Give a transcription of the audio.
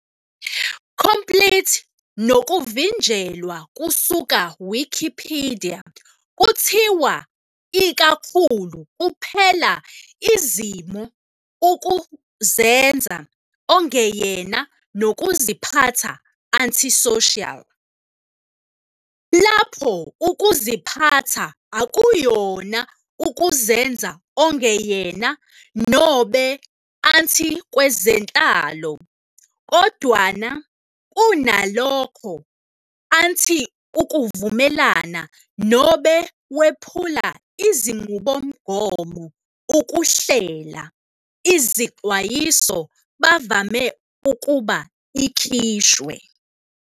Complete nokuvinjelwa kusuka Wikipedia kuthiwa ikakhulu kuphela izimo of ukuzenza ongeyena nokuziphatha anti-social. Lapho ukuziphatha akuyona ukuzenza ongeyena nobe anti-kwezenhlalo, kodwana kunalokho anti-ukuvumelana nobe wephula izinqubomgomo ukuhlela, izixwayiso bavame ukuba ikhishwe.